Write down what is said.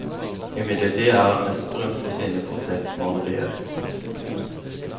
Imidlertid er han mest berømt for sine portrettmalerier.